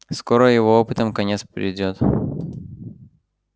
скоро его опытам конец придёт